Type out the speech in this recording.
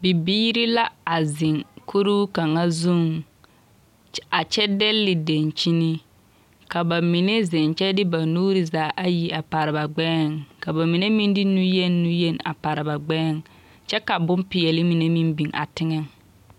Bibiiri la a zeŋ kuruu kaŋa zuŋ a kyɛ dɛnle denkyini, ka bamine zeŋ kyɛ de ba nuuri zaa ayi a pare ba gbɛɛŋ, ka bamine meŋ de nuyeni nuyeni a pare ba gbɛɛŋ kyɛ ka boŋ peɛle mine meŋ biŋ a teŋɛŋ. 13389